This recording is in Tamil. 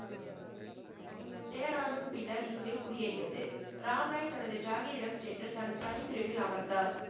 டேராடுன் பின்னர் இங்கு குடியேறியது. ராம்ராய் தனது ஜாகிரிடம் சென்று தனது தனிப் பிரிவில் அமர்ந்தார்.